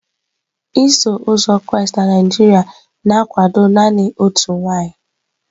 Iso uzọ Kraịst na Naijiria na-akwado naanị otu nwaanyị.